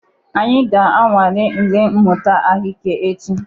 Anyị ga-anwale ule mmụta ahụike echi.